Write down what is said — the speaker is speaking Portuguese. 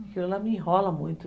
Aquilo lá me enrola muito.